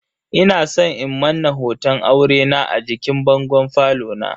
Ina san in Manna hoton aurena a jikin bangon falo na.